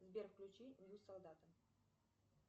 сбер включи нью солдата